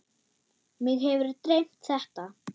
Mig hefur dreymt þetta.